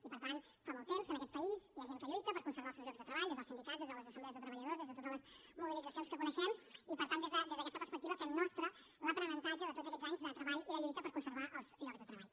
i per tant fa molt temps que en aquest país hi ha gent que lluita per conservar els seus llocs de treball des dels sindicats des de les assemblees de treballadors des de totes les mobilitzacions que coneixem i per tant des d’aquesta perspectiva fem nostre l’aprenentatge de tots aquests anys de treball i de lluita per conservar els llocs de treball